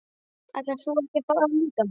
Ætlar þú ekki að fá þér líka?